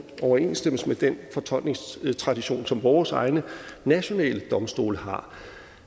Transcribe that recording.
overensstemmelse med den fortolkningstradition som vores egne nationale domstole har